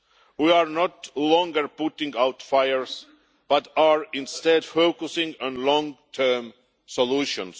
We are no longer putting out fires, but are instead focusing on long term solutions.